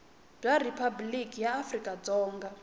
bya riphabuliki ra afrika dzonga